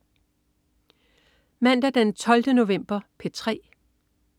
Mandag den 12. november - P3: